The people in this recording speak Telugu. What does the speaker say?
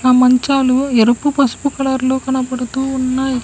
ఆ మంచాలు ఎరుపు పసుపు కలర్ లో కనపడుతూ ఉన్నాయి.